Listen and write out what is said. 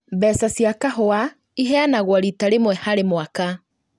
Mbeca cia kahũa iheanagwo rita rĩmwe harĩ kwa mwaka